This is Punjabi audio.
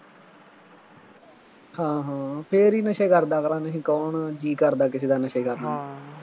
ਹਾਂ ਹਾਂ ਫੇਰ ਹੀ ਨਸ਼ੇ ਕਰਦਾ ਅਗਲਾ, ਨਹੀਂ ਕੌਣ ਜੀਅ ਕਰਦਾ ਕਿਸੇ ਦਾ ਨਸ਼ੇ ਕਰਨ ਨੂੰ